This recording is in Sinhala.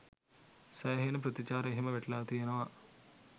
සෑහෙන ප්‍රතිචාර එහෙම වැටිලා තියනවා